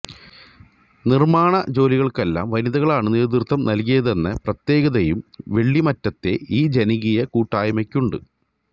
നിർമാണ േജാലികർക്കെല്ലാം വനിതകളാണ് നേതൃത്വം നൽകിയതെന്ന പ്രത്യേകതയും വെള്ളിയാമറ്റത്തെ ഈ ജനകീയ കൂട്ടായ്മക്കുണ്ട്